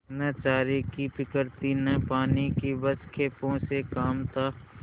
न चारे की फिक्र थी न पानी की बस खेपों से काम था